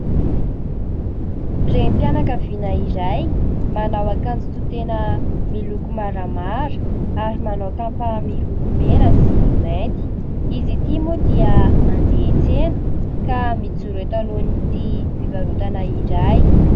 Renim-mpianakaviana iray, manao akanjo tohi-tena, miloko maramara ary manao kapa miloko mena sy mainty ; izy ity moa dia handeha hiantsena ka mijoro eto alohan'ity fivarotana iray.